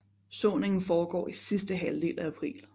Såningen foregår i sidste halvdel i april